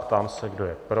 Ptám se, kdo je pro.